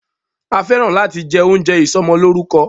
A fẹ́ràn láti jẹ oúnjẹ ìsọmọlórúkọ.